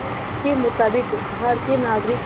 के मुताबिक़ भारतीय नागरिक